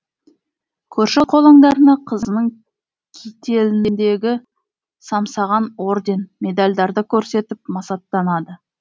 көрші қолаңдарына қызының кителіндегі самсаған орден медальдарды көрсетіп масаттанады